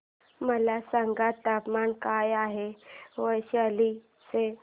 मला सांगा तापमान काय आहे वैशाली चे